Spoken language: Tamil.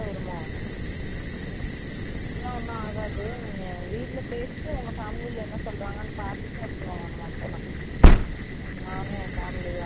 அதெக்ல்லாம் ஒன்னும் ஆகது, நீங்க வீட்ல பேசிட்டு உங்க family la என்ன சொல்ராங்க நு பாத்துட்டு அப்ரம் போலாம். நானும் எங்க family la யரயதும் கூடிட்டு வரேன்